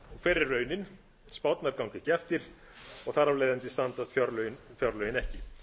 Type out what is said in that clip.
hver er raunin spárnar ganga ekki eftir og þar af leiðandi standast fjárlögin ekki